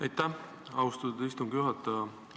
Aitäh, austatud istungi juhataja!